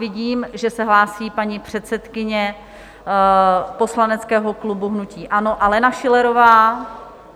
Vidím, že se hlásí paní předsedkyně poslaneckého klubu hnutí ANO Alena Schillerová.